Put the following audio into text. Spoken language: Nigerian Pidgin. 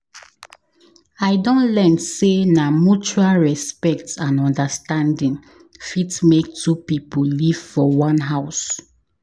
I don learn sey na mutual respect and understanding fit make two pipo live for one house.